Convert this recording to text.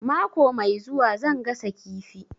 Mako mai zuwa zan gasa kifi